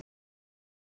Ber til sölu